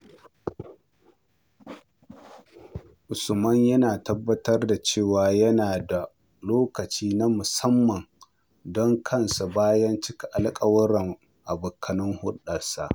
Usman yana tabbatar da cewa yana da lokaci na musamman don kansa bayan cika alƙawurran abokan hulɗarsa.